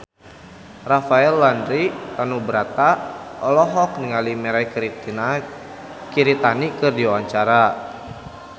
Rafael Landry Tanubrata olohok ningali Mirei Kiritani keur diwawancara